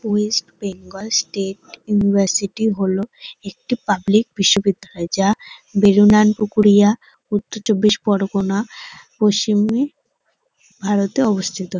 West Bengal State University হল একটি public বিশ্ববিদ্যালয় যা বেগুনান পুকুরিয়া উত্তর চব্বিশ পরগনার পশ্চিমে ভারতে অবস্থিত।